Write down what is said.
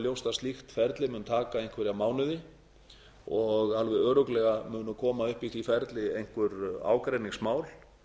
ljóst að slíkt ferli mun taka einhverja mánuði og alveg örugglega án koma upp í því ári einhver ágreiningsmál